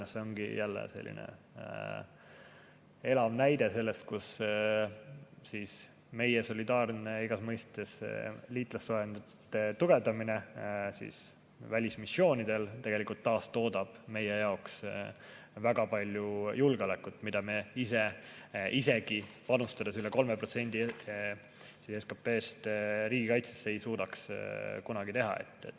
See ongi jälle elav näide sellest, kuidas meie solidaarne igas mõistes liitlassuhete tugevdamine välismissioonidel tegelikult taastoodab meie jaoks väga palju julgeolekut, mida me ise, isegi kui panustada 3%‑ga SKP‑st riigikaitsesse, ei suudaks kunagi teha.